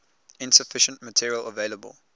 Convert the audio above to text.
insufficient material available